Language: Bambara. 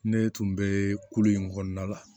Ne tun bɛ kulu in kɔnɔna la